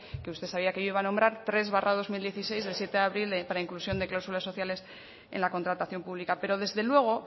que usted sabía que yo iba a nombrar tres barra dos mil dieciséis de siete de abril para inclusión de cláusulas sociales en la contratación pública pero desde luego